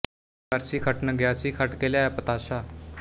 ਬਾਰੀ ਵਰਸੀ ਖੱਟਣ ਗਿਆ ਸੀ ਖੱਟ ਕੇ ਲਿਆਇਆ ਪਤਾਸ਼ਾ